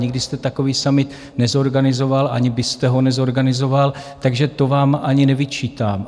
Nikdy jste takový summit nezorganizoval, ani byste ho nezorganizoval, takže to vám ani nevyčítám.